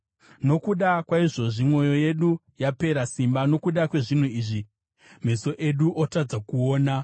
Nokuda kwaizvozvi mwoyo yedu yapera simba, nokuda kwezvinhu izvi meso edu otadza kuona,